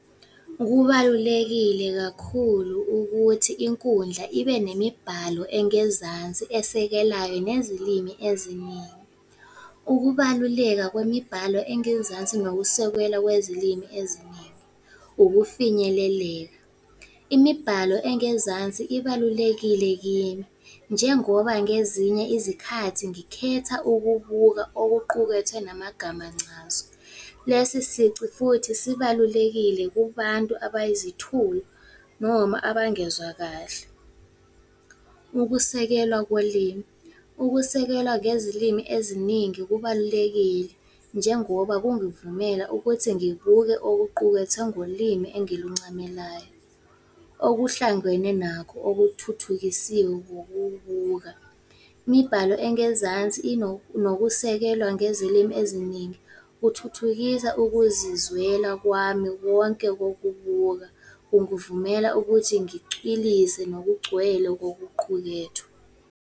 Kubalulekile kakhulu ukuthi inkundla ibe nemibhalo engezansi esekelayo nezilimi eziningi. Ukubaluleka kwemibhalo engezansi, nokusekelwa kwezilimi eziningi. Ukufinyeleleka, imibhalo engezansi ibalulekile kimi, njengoba ngezinye izikhathi ngikhetha ukubuka okuqukethwe namagama ncazo. Lesi sici futhi sibalulekile kubantu abayizithulu noma abangezwa kahle. Ukusekelwa kolimi, ukusekelwa ngezilimi eziningi kubalulekile, njengoba kungivumela ukuthi ngibuke okuqukethwe ngolimi engiluncamelayo. Okuhlangwene nakho, okuthuthukisiwe ngokubuka. Imibhalo engezansi nokusekelwa ngezilimi eziningi, kuthuthukisa ukuzizwela kwami wonke kokubuka, kungivumela ukuthi ngicwilise nokugcwele kokuqukethwe.